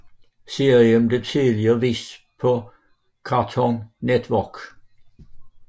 Serien blev tidligere vist på Cartoon Network